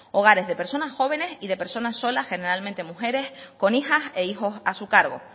hogares de personas jóvenes y de personas solas generalmente mujeres con hijas e hijos a su cargo